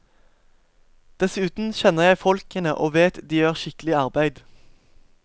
Dessuten kjenner jeg folkene og vet de gjør skikkelig arbeid.